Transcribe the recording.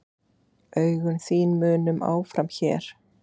Augun þín munum áfram hér.